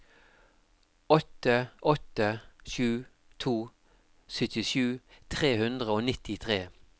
åtte åtte sju to syttisju tre hundre og nittitre